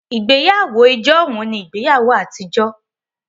Ìgbéyàwó ijohun ní ìgbéyàwó àtijọ́